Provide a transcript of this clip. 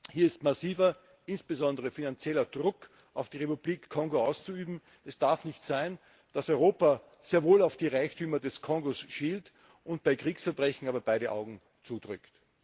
Hier ist massiver, insbesondere finanzieller Druck auf die Republik Kongo auszuüben. Es darf nicht sein, dass Europa sehr wohl auf die Reichtümer des Kongo schielt, bei Kriegsverbrechen aber beide Augen zudrückt!